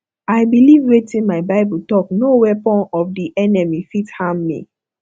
i beliv wetin my bible talk no weapon of di enemy fit harm me